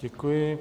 Děkuji.